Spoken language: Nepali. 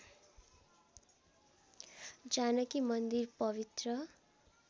जानकी मन्दिर पवित्र